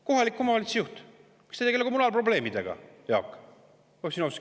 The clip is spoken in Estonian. Kohaliku omavalitsuse juht – miks ta ei tegele kommunaalprobleemidega, Jaak?